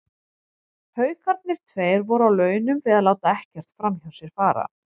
Haukarnir tveir voru á launum við að láta ekkert framhjá sér fara.